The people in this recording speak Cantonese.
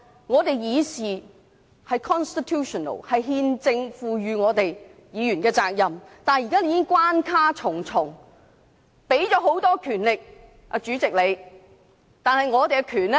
議員議事是憲政賦予議員的責任，現時已經關卡重重，讓主席有很大的權力，但議員的權力更會被奪去。